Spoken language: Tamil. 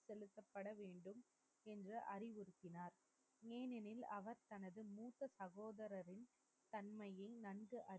இவர் அறிவுறுத்தினார். ஏனெனில் அவர் தனது மூத்த சகோதரரும் தம் மீது நம்பிக்கை கொண்டு,